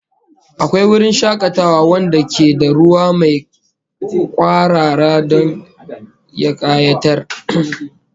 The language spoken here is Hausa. Akwai wurin shakatawa wanda ke da ruwa mai kwarara don ya kayatar